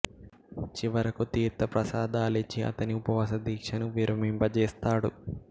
చివరకు తీర్త ప్రసాదాలిచ్చి అతని ఉప వాస దీక్షను విరమింప జేస్తాడు